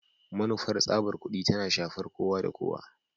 Manufar tsabar kudi tana shafar kowa da kowa